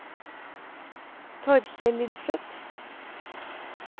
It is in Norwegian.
Torkel Lindseth